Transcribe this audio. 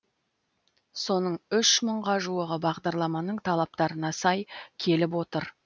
соның үш мыңға жуығы бағдарламаның талаптарына сай келіп отыр